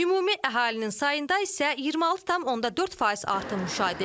Ümumi əhalinin sayında isə 26,4% artım müşahidə edilir.